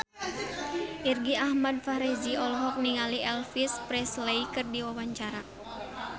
Irgi Ahmad Fahrezi olohok ningali Elvis Presley keur diwawancara